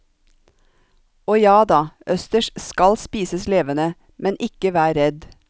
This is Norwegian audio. Og jada, østers skal spises levende, men ikke vær redd.